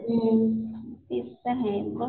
हुं तेच तर आहे मग